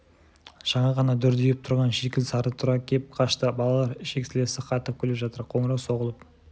жаңа ғана дүрдиіп тұрған шикіл сары тұра кеп қашты балалар ішек-сілесі қатып күліп жатыр қоңырау соғылып